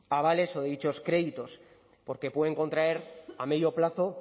avales o dichos créditos porque pueden contraer a medio plazo